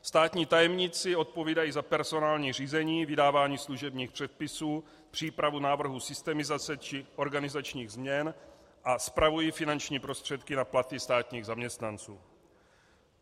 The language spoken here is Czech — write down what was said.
Státní tajemníci odpovídají za personální řízení, vydávání služebních předpisů, přípravu návrhů systemizace či organizačních změn a spravují finanční prostředky na platy státních zaměstnanců.